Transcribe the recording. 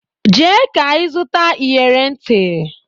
Jee ka ịzụta iyere ntị!